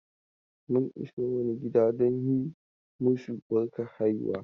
Mun iso wani gida don yi masu barkar haihuwa.